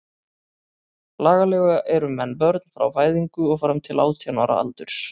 Lagalega eru menn börn frá fæðingu og fram til átján ára aldurs.